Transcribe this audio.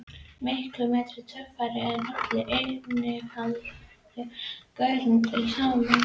Miklu meiri töffari en allir innfæddu gaurarnir til samans.